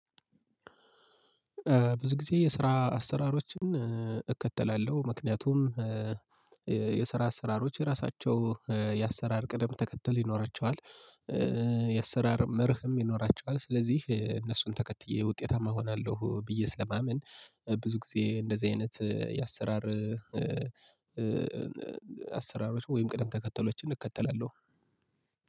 ብዙ ጊዜ የስራ አሰራሮችን እከተላለሁ። ምክንያቱም የስራ አሰራሮች የራሳቸው የአሰራር ቅደም ተከተል ይኖራቸዋል። የአሰራር መርህም ይኖራቸዋል ስለዚህ እነሱን ተከትዬ ውጤታማ እሆናለሁ ብዬ ስለማመን። ብዙ ጊዜ እንደዚህ አይነት የአሰራር አሰራሮች ወይም ቅደም ተከተሎችን እከተላለሁ።